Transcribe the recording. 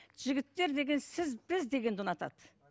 жігіттер деген сіз біз дегенді ұнатады